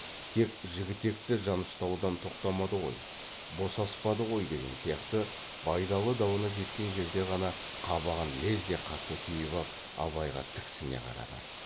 тек жігітекті жаныштаудан тоқтамады ғой босаспады ғой деген сияқты байдалы дауына жеткен жерде ғана қабағын лезде қатты түйіп ап абайға тіксіне қарады